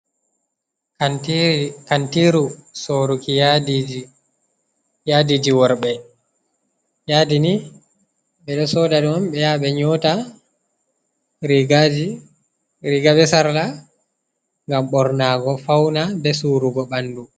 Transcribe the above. Kantiiru sooruki yaadiiji, yaadiiji worɓe, yaadi ni ɓe ɗo sooda ɗum ɓe yaha ɓe nyoota riiga bee sarla ngam ɓornaago fawna bee suurugo ɓanndu.